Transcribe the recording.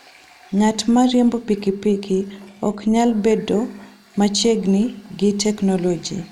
Ng'at ma riembo pikipiki ok nyal bedo machiegni gi teknoloji.